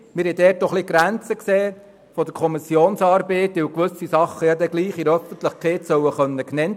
Wir sahen eine Grenze der Kommissionsarbeit darin, dass gewisse Dinge in der Öffentlichkeit genannt werden können sollen.